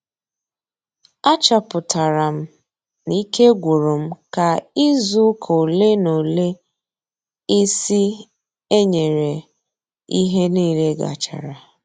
A chọpụtara m na ike gwụrụ m ka izu ụka ole na ole ịsị ee nyere ihe nile gachara